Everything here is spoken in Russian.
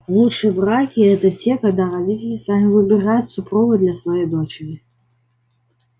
лучшие браки это те когда родители сами выбирают супруга для своей дочери